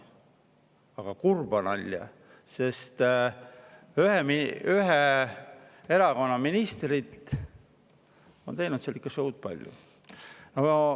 Aga kurba nalja, sest ühe erakonna ministrid on teinud seal ikka palju show'd.